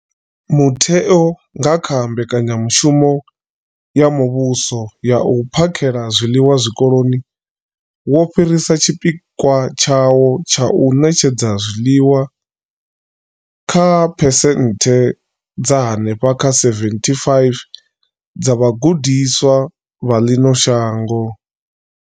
Mutheo, nga kha mbekanyamushumo ya muvhuso ya u phakhela zwiḽiwa zwikoloni, wo fhirisa tshipikwa tshawo tsha u ṋetshedza zwiḽiwa kha phesenthe dza henefha kha 75 dza vhagudiswa vha ḽino shango.